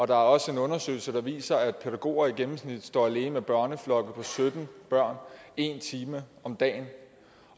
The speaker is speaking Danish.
der er også en undersøgelse der viser at pædagoger i gennemsnit står alene med børneflokke på sytten børn en time om dagen